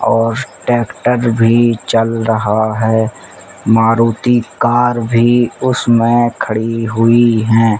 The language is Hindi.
और ट्रैक्टर भी चल रहा है। मारुती कार भी उसमें खड़ी हुई हैं।